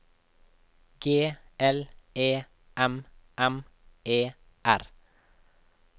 G L E M M E R